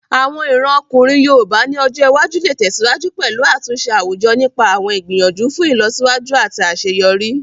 Àwọn ìran ọkùnrin yoòbá ní ọjọ́ iwájú lè tẹ̀síwájú pẹ̀lú àtúnṣe àwùjọ nípa àwọn ìgbìyànjú fún ìlọsíwájú àti àṣeyọrí